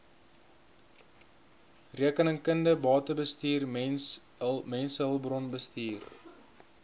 rekeningkunde batebestuur mensehulpbronbestuur